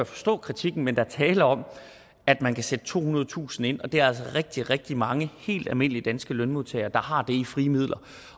forstå kritikken men der er tale om at man kan sætte tohundredetusind kroner ind og der er altså rigtig rigtig mange helt almindelige danske lønmodtagere der har det i frie midler